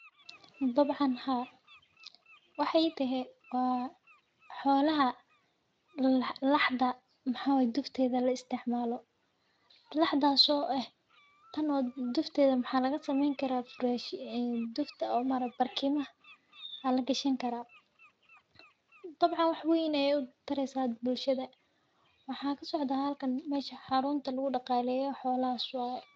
Dabcan haa waxaay tahay waa xoolaha laxda maxaa waye dufteeda laisticmaalo, laxdaas oo ah tan dufteeda waxaa laga sameen karaa barkimaha ayaa lagashan karaa, dabcan wax weyn ayeey utareysa bulshada waxaa kasocdaa halkan meesha xarunta lagu daqaaleyo xoolaha waye.